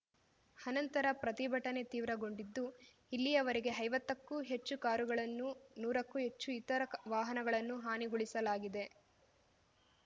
ಅನಂತರ ಪ್ರತಿಭಟನೆ ತೀವ್ರಗೊಂಡಿದ್ದು ಇಲ್ಲಿಯವರೆಗೆ ಐವತ್ತಕ್ಕೂ ಹೆಚ್ಚು ಕಾರುಗಳನ್ನೂ ನೂರಕ್ಕೂ ಹೆಚ್ಚು ಇತರ ವಾಹನಗಳನ್ನೂ ಹಾನಿಗೊಳಿಸಲಾಗಿದೆ